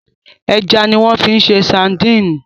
Ẹja ni wọ́n fi ń ṣe sadíìnì.